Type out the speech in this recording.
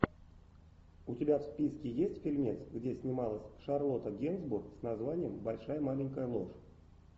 у тебя в списке есть фильмец где снималась шарлотта генсбур с названием большая маленькая ложь